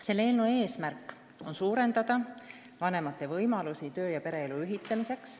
Selle eesmärk on suurendada vanemate võimalusi töö- ja pereelu ühildamiseks.